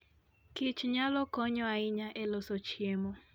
kich nyalo konyo ahinya e loso chiemo.